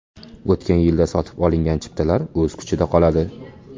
O‘tgan yilda sotib olingan chiptalar o‘z kuchida qoladi.